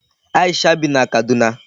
Aisha bi na Kaduna.